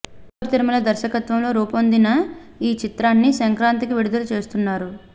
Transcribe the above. కిషోర్ తిరుమల దర్శకత్వంలో రూపొందిన ఈ చిత్రాన్ని సంక్రాంతికి విడుదల చేస్తున్నారు